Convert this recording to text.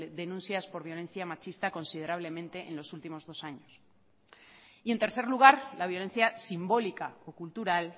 denuncias por violencia machista considerablemente en los últimos dos años y en tercer lugar la violencia simbólica o cultural